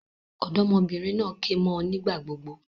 Òdómọbìnrin naa ké mó ọ nígbà gbogbo